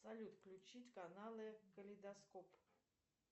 салют включить каналы калейдоскоп